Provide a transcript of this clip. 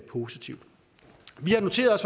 positivt vi har noteret